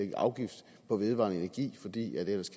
en afgift på vedvarende energi fordi vi ellers